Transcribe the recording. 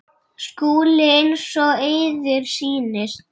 SKÚLI: Eins og yður sýnist.